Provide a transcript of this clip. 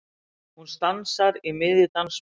Hún stansar í miðju dansspori.